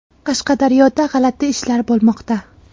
Qashqadaryoda g‘alati ishlar bo‘lmoqda.